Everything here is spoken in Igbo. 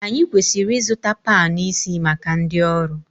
Anyị kwesịrị ịzụta panu isi maka ndị ọrụ